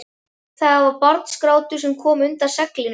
Það var barnsgrátur sem kom undan seglinu.